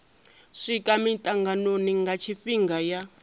swika mitanganoni nga tshifhinga ya